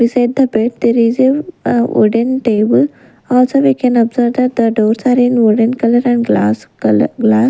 Beside the bed there is a ah wooden table also we can observe that the doors are in wooden color and glass color gla --